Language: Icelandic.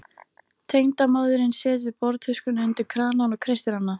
Tengdamóðirin setur borðtuskuna undir kranann og kreistir hana.